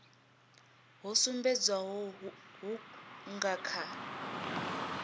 ho sumbedzwaho hu nga kha